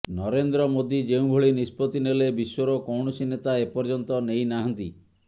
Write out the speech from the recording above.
ନରେନ୍ଦ୍ର ମୋଦି ଯେଉଁଭଳି ନିଷ୍ପତି ନେଲେ ବିଶ୍ୱର କୌଣସି ନେତା ଏପର୍ଯ୍ୟନ୍ତ ନେଇ ନାହାନ୍ତି